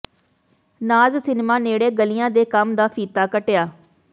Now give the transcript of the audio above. ਨਾਜ਼ cinema ਨੇੜੇ ਗਲੀਆਂ ਦੇ ਕੰਮ ਦਾ ਫੀਤਾ ਕੱਟਿਆ